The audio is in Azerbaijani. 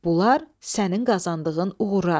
Bunlar sənin qazandığın uğurlardır.